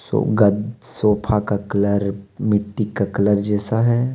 सो गद्द सोफा का कलर मिट्टी का कलर जैसा है.